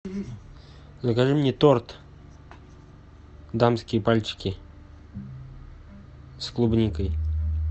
закажи мне торт дамские пальчики с клубникой